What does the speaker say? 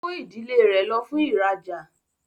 O kò ìdílé rẹ lo fún ìrajà.